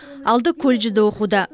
алды колледжде оқуда